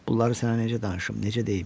Bunları sənə necə danışım, necə deyim?